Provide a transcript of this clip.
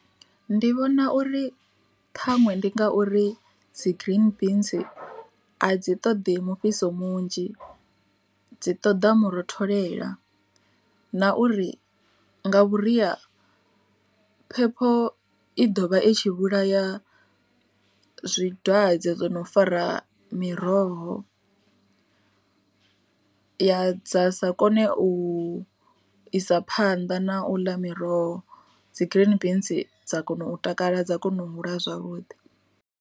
Ndi vhona uri ṱhaṅwe ndi ngauri dzi green beans a dzi ṱoḓi mufhiso munzhi, dzi ṱoḓa mu rotholela na uri nga vhuria phepho i ḓovha i tshi vhulaya zwidwadze zwono fara miroho, ya sa kone u isa phanḓa na u ḽa miroho dzi green beans dza kona u takala dza kona u hula zwavhuḓi.